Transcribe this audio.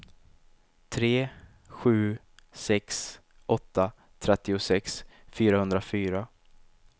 tre sju sex åtta trettiosex fyrahundrafyra